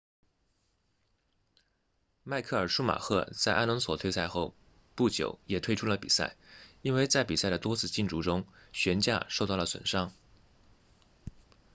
迈克尔舒马赫在阿隆索退赛后不久也退出了比赛因为在比赛的多次竞逐中悬架受到了损伤